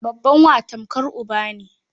Babban wa tamkar uba ne.